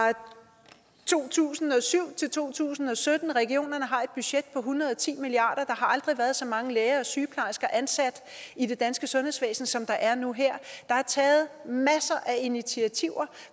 to tusind og syv til to tusind og sytten regionerne har et budget på en hundrede og ti milliard aldrig været så mange læger og sygeplejersker ansat i det danske sundhedsvæsen som der er nu og her der er taget masser af initiativer